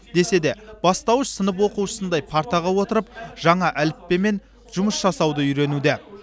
десе де бастауыш сынып оқушысындай партаға отырып жаңа әліппемен жұмыс жасауды үйренуде